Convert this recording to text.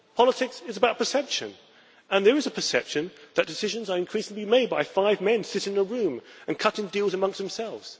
Politics is about perception and there is a perception that decisions are increasingly made by five men sitting in a room and cutting deals among themselves.